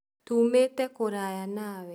Tũmĩte kũraya na we